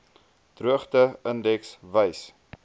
droogte indeks wys